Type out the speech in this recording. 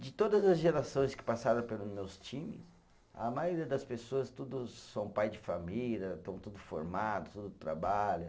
De todas as gerações que passaram pelos meus times, a maioria das pessoas tudo são pai de família, estão tudo formado, tudo trabalha.